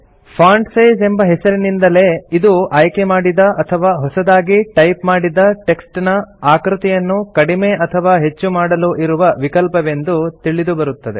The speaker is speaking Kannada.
ಫಾಂಟ್ ಸೈಜ್ ಎಂಬ ಹೆಸರಿನಿಂದಲೇ ಇದು ಆಯ್ಕೆಮಾಡಿದ ಅಥವಾ ಹೊಸತಾಗಿ ಟೈಪ್ ಮಾಡಿದ ಟೆಕ್ಸ್ಟ್ ನ ಆಕೃತಿಯನ್ನು ಕಡಿಮೆ ಅಥವಾ ಹೆಚ್ಚು ಮಾಡಲು ಇರುವ ವಿಕಲ್ಪವೆಂದು ತಿಳಿದುಬರುತ್ತದೆ